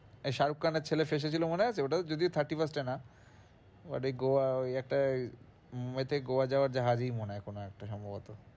এই শাহরুখ খানের ছেলে ফেঁসেছিলো মনে আছে? ওটাও যদিও thirty-first এ না but ওই গোয়া ওই একটা গোয়া যাওয়ার জাহাজেই মনে হয় কোনো একটা সম্ভবত।